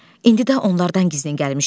İndi də onlardan gizlin gəlmişik.